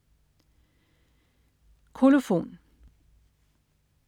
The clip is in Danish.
Kolofon